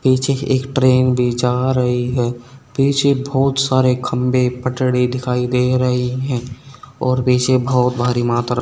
पीछे एक ट्रेन भी जा रही है पीछे बहोत सारे खंभे पटड़ी दिखाई दे रही है और पीछे बहोत भारी मात्रा--